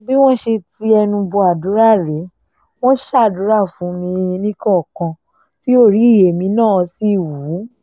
bí wọ́n ṣe ti ẹnu bọ àdúrà rèé wọn ṣàdúrà fún mi níkọ̀ọ̀kan tí orí èmi náà sì wú